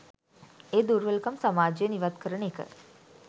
ඒ දුර්වලකම් සමාජයෙන් ඉවත් කරන එක.